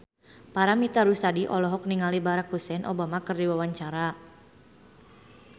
Paramitha Rusady olohok ningali Barack Hussein Obama keur diwawancara